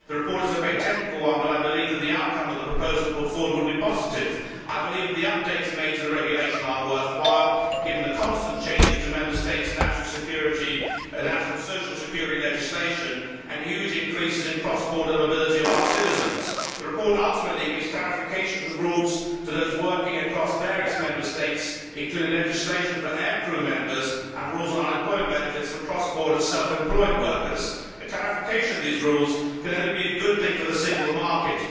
The report is a very technical one, but I believe that the outcome of the proposal put forward would be positive. I believe that the updates made to the Regulation are worthwhile, given the constant changes to Member States' national social security legislation and the huge increases in the cross border mobility of our citizens. The report ultimately gives clarification of the rules to those working across various Member States, including legislation for aircrew members and rules on unemployment benefits for cross border self employed workers. Clarification of these rules can only be a good thing for the single market.